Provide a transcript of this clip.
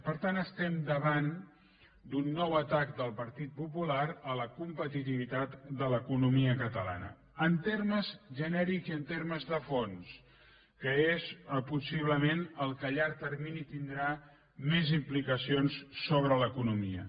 per tant estem davant d’un nou atac del partit popular a la competitivitat de l’economia catalana en termes genèrics i en termes de fons que és possiblement el que a llarg termini tindrà més implicacions sobre l’economia